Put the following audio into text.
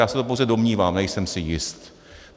Já se to pouze domnívám, nejsem si jist.